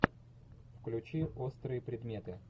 включи острые предметы